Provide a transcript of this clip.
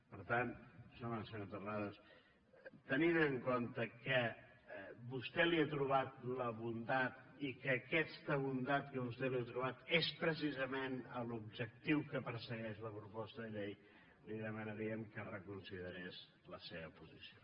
per tant senyor terrades tenint en compte que vostè hi ha trobat la bondat i que aquesta bondat que vostè hi ha trobat és precisament l’objectiu que persegueix la pro·posta de llei li demanaríem que reconsiderés la seva posició